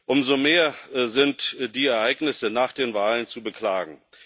Umso mehr sind die Ereignisse nach den Wahlen zu beklagen.